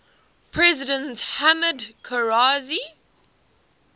president hamid karzai